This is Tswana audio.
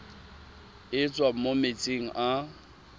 e tswang mo metsing a